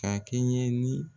Ka kɛɲɛ ni